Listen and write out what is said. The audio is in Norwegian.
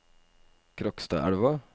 Krokstadelva